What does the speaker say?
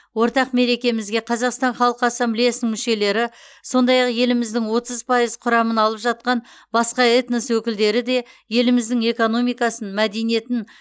ортақ мерекемізге қазақстан халық ассамблеясының мүшелері сондай ақ еліміздің отыз пайыз құрамын алып жатқан басқа этнос өкілдері де еліміздің экономикасын мәдениетін